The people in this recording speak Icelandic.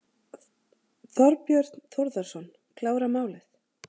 Þorbjörn Þórðarson: Klára málið?